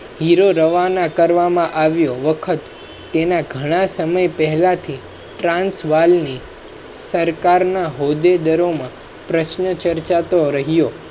hero રવા ના કરવામાં આવ્યો વખત તેના ઘણા સમય પહેલા થી ટ્રાન્સ વાલ ની સરકાર ના ચર્ચા તો રહ્યો